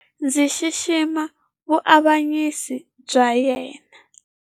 Ndzi xixima vuavanyisi bya yena.